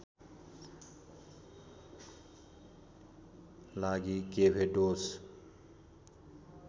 लागि केभेडोस